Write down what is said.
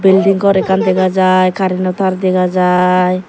building gor ekkan dega jai careno tar dega jai.